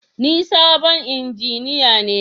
Ni sabon injiniya ne